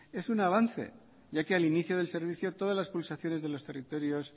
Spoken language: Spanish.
es un avance ya que al inicio del servicio todas las pulsaciones de los territorios